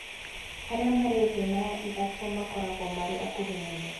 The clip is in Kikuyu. Arĩa marĩ thĩ na ithatũ makoragwo marĩ akuhĩ mũno